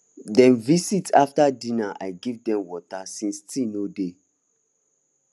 dem visit after dinner i give dem water since tea no dey